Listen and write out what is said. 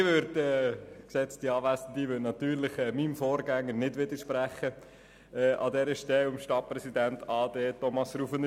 Ich werde meinem Vorgänger, dem Stadtpräsidenten ausser Dienst, Thomas Rufener, an dieser Stelle natürlich nicht widersprechen.